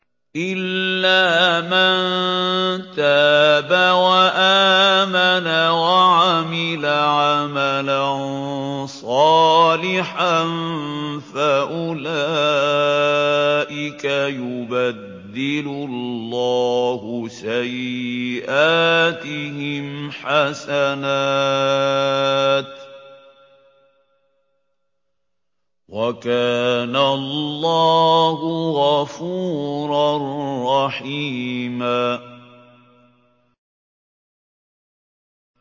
إِلَّا مَن تَابَ وَآمَنَ وَعَمِلَ عَمَلًا صَالِحًا فَأُولَٰئِكَ يُبَدِّلُ اللَّهُ سَيِّئَاتِهِمْ حَسَنَاتٍ ۗ وَكَانَ اللَّهُ غَفُورًا رَّحِيمًا